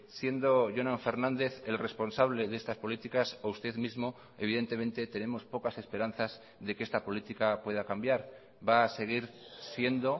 siendo jonan fernández el responsable de estas políticas o usted mismo evidentemente tenemos pocas esperanzas de que esta política pueda cambiar va a seguir siendo